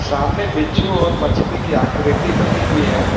सामने बिच्छू और मछली की आकृति बनी हुई है।